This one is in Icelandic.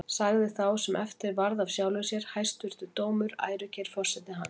Sagði þá sá sem eftir varð af sjálfum sér: Hæstvirtur dómur, ærukær forseti hans!